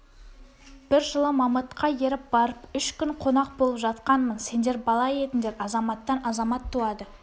бір жылы мамытқа еріп барып үш күн қонақ болып жатқанмын сендер бала едіңдер азаматтан азамат туады